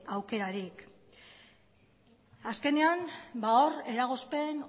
aukerarik azkenean hor eragozpen